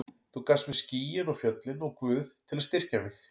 Þú gafst mér skýin og fjöllin og Guð til að styrkja mig.